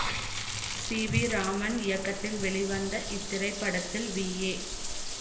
C V Raman இயக்கத்தில் வெளிவந்த இத்திரைப்படத்தில் வி ஏ